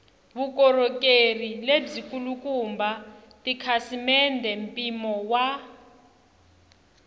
vukorhokeri lebyikulukumba tikhasimende mpimo wa